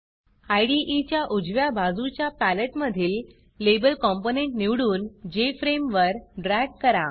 इदे च्या उजव्या बाजूच्या पॅलेट मधील Labelलेबल कॉम्पोनंट निवडून Jframeजेफ्रेम वर ड्रॅग करा